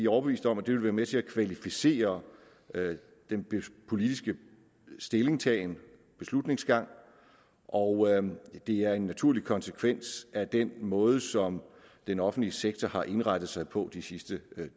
overbevist om at det vil være med til at kvalificere den politiske stillingtagen beslutningsgang og det er en naturlig konsekvens af den måde som den offentlige sektor har indrettet sig på de sidste